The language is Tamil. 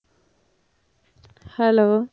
hello